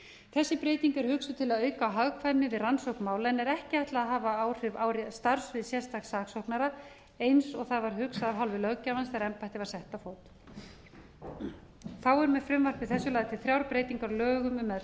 þessi breyting er hugsuð til að auka á hagkvæmni við rannsókn mála en er ekki ætlað að hafa áhrif á starfssvið sérstaks saksóknara eins og það var hugsað af hálfu löggjafans þegar embættið var sett á fót þá eru með frumvarpi þessu lagðar til þrjár breytingar á lögum um meðferð